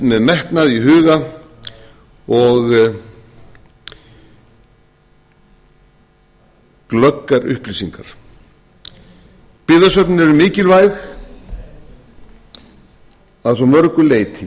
með metnað í huga og glöggar upplýsingar byggðasöfnin eru mikilvæg að svo mörgu leyti